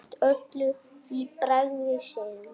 Gleymt öllu í bræði sinni.